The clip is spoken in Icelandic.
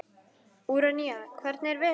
Úranía, hvernig er veðurspáin?